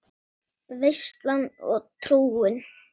Veislan og trúin